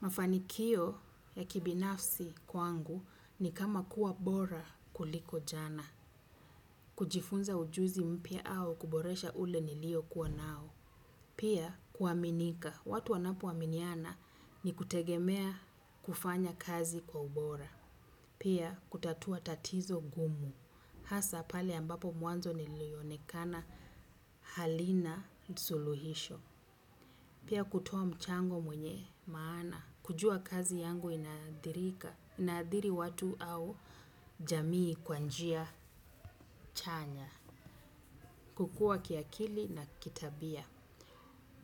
Mafanikio ya kibinafsi kwangu ni kama kuwa bora kuliko jana. Kujifunza ujuzi mpya au kuboresha ule niliokuwa nao. Pia kuaminika. Watu wanapoaminiana ni kutegemea kufanya kazi kwa ubora. Pia kutatua tatizo gumu. Hasa pale ambapo mwanzo nilionekana halina suluhisho. Pia kutoa mchango mwenye maana. Kujua kazi yangu inaathirika, inaathiri watu au jamii kwa njia chanya. Kukua kiakili na kitabia.